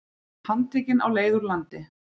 Handtekinn á leið úr landi